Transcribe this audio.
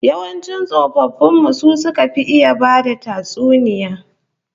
Yawancin tsofaffin mu su suka fi iya bada tatsuniya